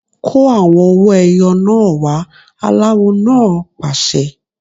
Kó àwọn owó ẹyọ náà wá! Aláwo náà pàṣẹ.